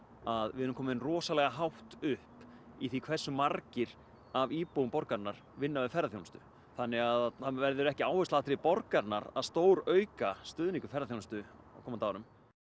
að við erum komin rosalega hátt upp í því hversu margir af íbúum borgarinnar vinna við ferðaþjónustu þannig að það verður ekki áhersluatriði borgarinnar að stórauka stuðning við ferðaþjónustu á komandi árum